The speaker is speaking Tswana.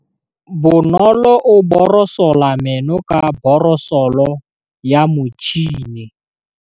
Bonolô o borosola meno ka borosolo ya motšhine.